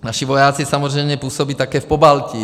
Naši vojáci samozřejmě působí také v Pobaltí.